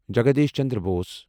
Jagdish Chandra Bose